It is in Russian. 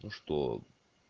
ну что